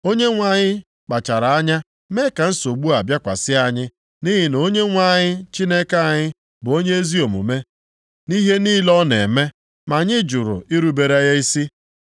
Onyenwe anyị kpachara anya mee ka nsogbu a bịakwasị anyị. Nʼihi na Onyenwe anyị, Chineke anyị, bụ onye ezi omume nʼihe niile ọ na-eme, ma anyị jụrụ irubere ya isi.